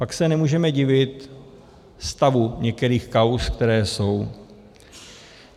Pak se nemůžeme divit stavu některých kauz, které jsou.